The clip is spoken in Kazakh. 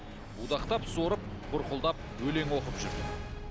будақтап сорып бұрқылдап өлең оқып жүр